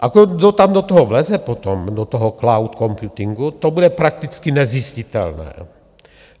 A kdo tam do toho vleze potom, do toho cloud computingu, to bude prakticky nezjistitelné.